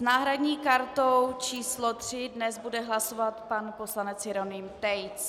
S náhradní kartou číslo 3 dnes bude hlasovat pan poslanec Jeroným Tejc.